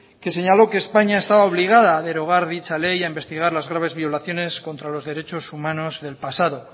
que señaló que españa estaba obligada a derogar dicha ley y a investigar las graves violaciones contra los derechos humanos del pasado